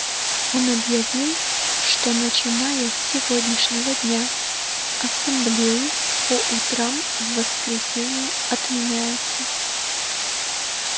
он объявил что начиная с сегодняшнего дня ассамблеи по утрам в воскресенье отменяются